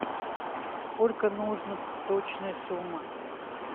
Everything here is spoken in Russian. сколько нужно точная сумма